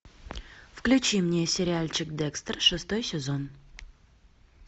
включи мне сериальчик декстер шестой сезон